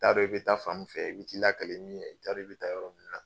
I t'a dɔn, i bɛ taa fan min fɛ, i bi taa lakalen min ye, i t'a dɔn i bi taa yɔrɔ min na